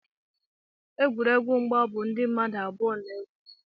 egwuregwu mgba bụ ndị mmadụ abụọ na-egwu